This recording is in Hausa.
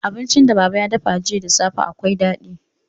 Abincin da baba ya dafa jiya da safe akwai daɗi.